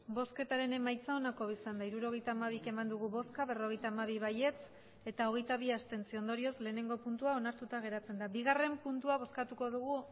emandako botoak hirurogeita hamabi bai berrogeita hamabi abstentzioak hogeita bi ondorioz batgarrena puntua onartuta geratzen da bigarrena puntua bozkatuko dugu